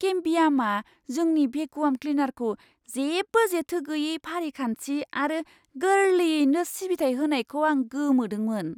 केमबियामआ जोंनि भेकुवाम क्लिनारखौ जेबो जेथो गैयै फारिखान्थि आरो गोरलैयैनो सिबिथाइ होनायखौ आं गोमोदोंमोन!